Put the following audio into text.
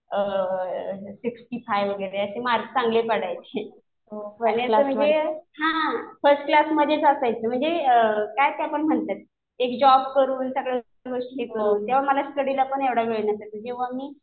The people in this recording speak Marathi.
सिक्स्टी फाईव्ह वगैरे असे मार्क चांगले पडायचे. आणि असं म्हणजे हा फर्स्ट क्लासमध्येच असायचे. म्हणजे काय त्याला म्हणतात ते जॉब करून सगळं करून तेव्हा मला स्टडीलापण एवढा वेळ नसायचा. तेव्हा मी